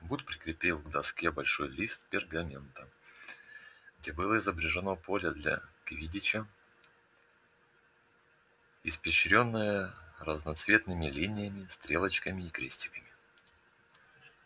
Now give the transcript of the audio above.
вуд прикрепил к доске большой лист пергамента где было изображено поле для квиддича испещрённое разноцветными линиями стрелочками и крестиками